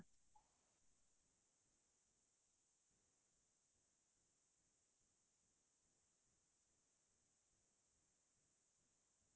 মই এই উপন্যাস যেনেকোৱা আমাৰ দৈনন্দিন জীৱনৰ লগত মিলিব পৰা